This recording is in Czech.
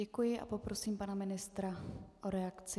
Děkuji a poprosím pana ministra o reakci.